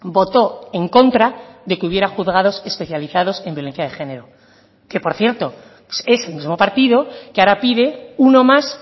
votó en contra de que hubiera juzgados especializados en violencia de género que por cierto es el mismo partido que ahora pide uno más